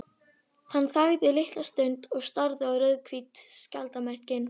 Hann þagði litla stund og starði á rauðhvít skjaldarmerkin.